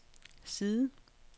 side